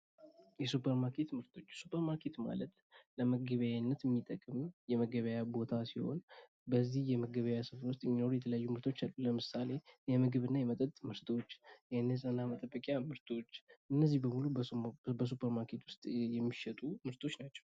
የሱፐር ማርኬት ምርቶች ፦ሱፐር ማርኬት ማለት ለመገበያያነት የምንጠቀምበት የገበያ ቦታ ሲሆን በዚህ የመገበያያ ቦታ ውስጥ የተለያዩ ይገኛሉ። ለምሳሌ፦ የምግብና የመጠጥ ምርቶች፤ የንጽሕና መጠበቂያ ምርቶች እነዚህ ሁሉ በሱፐር ማርኬት የሚሸጡ ምርቶች ናቸው።